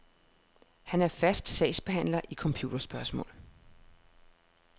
Han er fast sagsbehandler i computerspørgsmål.